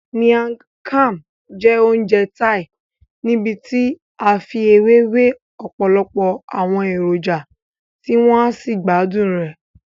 Miang Kham jẹ́ oúnjẹ Thai níbití a fi ewé we ọ̀pọ̀lọpọ̀ àwọn èròjà tí wọ́n á sí gbádùn rẹ.